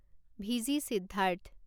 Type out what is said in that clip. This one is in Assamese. ভিজি সিদ্ধাৰ্থ